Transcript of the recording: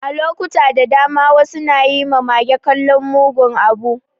A lokuta da dama, wasu na yi ma mage kallon mugun abu.